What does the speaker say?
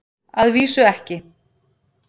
Að vísu ekki.